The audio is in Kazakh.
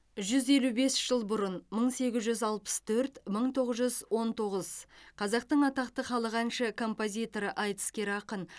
жүз елу бес жыл бұрын мың сегіз жүз алпыс төрт мың тоғыз жүз он тоғыз қазақтың атақты халық әнші композиторы айтыскер ақын